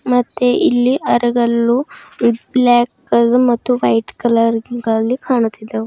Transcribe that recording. ಮತ್ತೆ ಇಲ್ಲಿ ಅರಗಲ್ಲು ಬ್ ಬ್ಲ್ಯಾಕ್ ಕಲರ್ ಮತ್ತು ವೈಟ್ ಕಲರ್ ಗಳಲ್ಲಿ ಕಾಣುತ್ತಿದ್ದವು.